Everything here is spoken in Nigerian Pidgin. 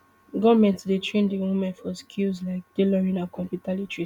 goment dey train di women for skills like tailoring and computer literacy